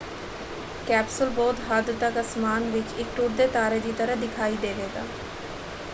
Capsule ਬਹੁਤ ਹੱਦ ਤੱਕ ਅਸਮਾਨ ਵਿੱਚ ਇੱਕ ਟੁੱਟਦੇ ਤਾਰੇ ਦੀ ਤਰ੍ਹਾਂ ਦਿਖਾਈ ਦੇਵੇਗਾ।